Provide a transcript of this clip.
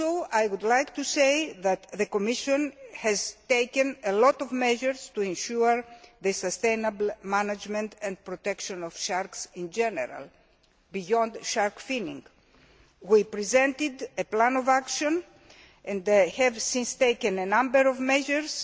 I would also like to say that the Commission has taken a lot of measures to ensure the sustainable management and protection of sharks in general, beyond shark finning. We presented a plan of action and have since taken a number of measures.